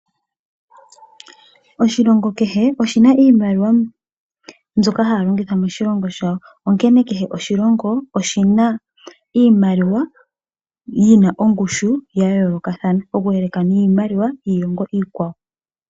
Oshilongo kehe oshina iimaliwa mbyoka haya longitha moshilongo shawo, onkene kehe oshilongo oshina iimaliwa yina ongushu ya yoolokathana oku yeleka niimaliwa yiilongo iikwawo.